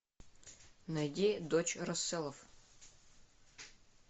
найди дочь расселов